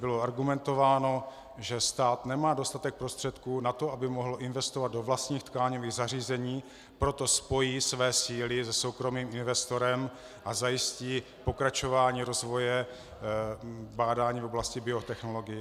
Bylo argumentováno, že stát nemá dostatek prostředků na to, aby mohl investovat do vlastních tkáňových zařízení, proto spojí své síly se soukromým investorem a zajistí pokračování rozvoje bádání v oblasti biotechnologií.